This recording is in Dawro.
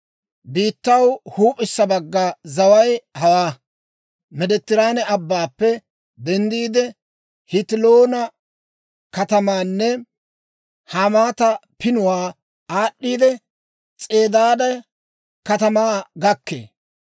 «Biittaw huup'issa bagga zaway hawaa: Meediteraane Abbaappe denddiide, Hetiloona katamaanne Hamaata Pinuwaa aad'd'iidde, S'edaade katamaa gakkee.